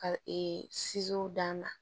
Ka d'a ma